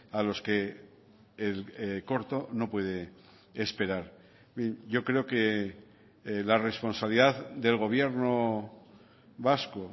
a los que el corto no puede esperar yo creo que la responsabilidad del gobierno vasco